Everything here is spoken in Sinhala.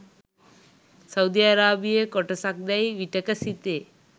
සෞදි අරාබියේ කොටසක් දැයි විටෙක සිතේ.